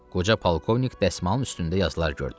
Qoca polkovnik dəsmalın üstündə yazılar gördü.